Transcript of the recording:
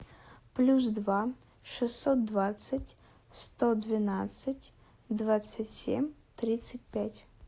плюс два шестьсот двадцать сто двенадцать двадцать семь тридцать пять